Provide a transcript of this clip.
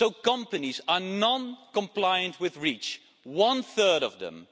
Companies are non compliant with REACH one third of them.